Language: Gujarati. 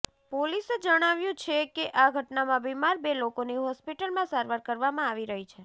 પોલીસે જણાવ્યું છે કે આ ઘટનામાં બીમાર બે લોકોની હોસ્પિટલમાં સારવાર કરવામાં આવી રહી છે